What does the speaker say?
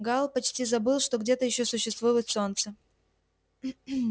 гаал почти забыл что где-то ещё существует солнце